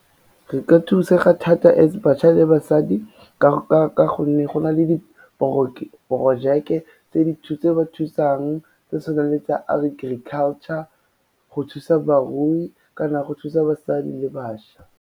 Re ka thusega thata as bašwa le basadi ka gonne go na le diporojeke tse ba thutsang, tse tshwanang le tsa agriculture go thusa barui kana go thusa basadi le bašwa.